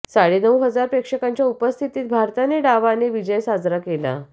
साडे नऊ हजार प्रेक्षकांच्या उपस्थितीत भारताने डावाने विजय साजरा केला